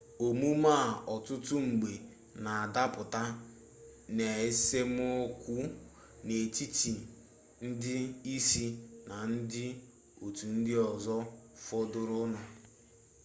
omume a ọtụtụ mgbe na adapụta n'esemokwu n'etiti ndị isi na ndị otu ndị ọzọ fọdụrụnụ